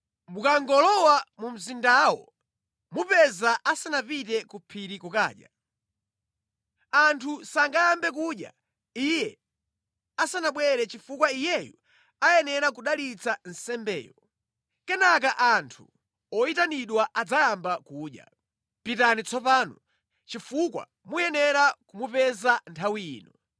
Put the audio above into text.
Mukangolowa mu mzindawo mumupeza asanapite ku phiri kukadya. Anthu sangayambe kudya iye asanabwere chifukwa iyeyu ayenera kudalitsa nsembeyo. Kenaka anthu oyitanidwa adzayamba kudya. Pitani tsopano, chifukwa muyenera kumupeza nthawi ino.”